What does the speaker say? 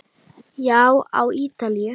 Já, á Ítalíu.